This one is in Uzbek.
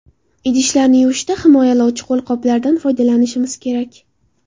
Idishlarni yuvishda himoyalovchi qo‘lqoplardan foydalanishimiz kerak.